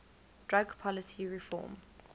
drug policy reform